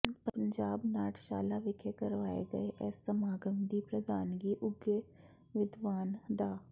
ਪੰਜਾਬ ਨਾਟਸ਼ਾਲਾ ਵਿਖੇ ਕਰਵਾਏ ਗਏ ਇਸ ਸਮਾਗਮ ਦੀ ਪ੍ਰਧਾਨਗੀ ਉੱਘੇ ਵਿਦਵਾਨ ਡਾ